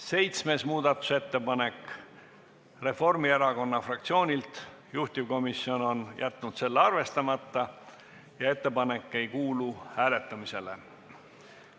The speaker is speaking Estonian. Seitsmes muudatusettepanek, samuti Reformierakonna fraktsioonilt, juhtivkomisjon on jätnud selle arvestamata ja ettepanek ei kuulu hääletamisele.